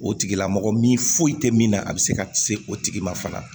O tigilamɔgɔ min foyi tɛ min na a bɛ se ka kisi o tigi ma fana